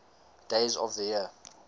days of the year